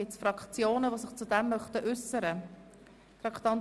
Gibt es Fraktionen, die sich zu diesem Geschäft äussern möchten?